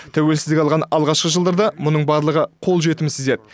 тәуелсіздік алған алғашқы жылдарда мұның барлығы қол жетімсіз еді